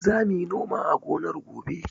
Za mu yi noma a gonar gobe.